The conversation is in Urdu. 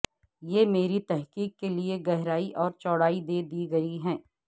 یہ میری تحقیق کے لئے گہرائی اور چوڑائی دے دی ہے